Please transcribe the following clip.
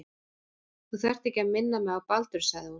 Þú þarft ekki að minna mig á Baldur sagði hún.